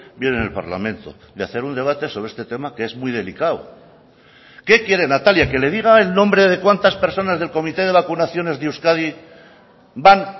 bien en el parlamento de hacer un debate sobre este tema que es muy delicado qué quiere natalia que le diga el nombre de cuántas personas del comité de vacunaciones de euskadi van